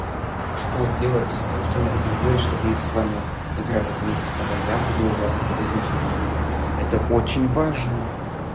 а что сделать что надо будет делать чтобы мы с вами играли вместе когда я буду у вас или вы будете у меня это очень важно